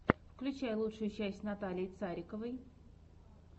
включай лучшую часть натальи цариковой